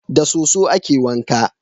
Da soso a ke wanka